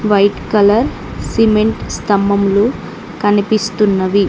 White colour cement స్తంభములు కనిపిస్తున్నవి.